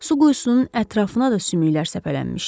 Su quyusunun ətrafına da sümüklər səpələnmişdi.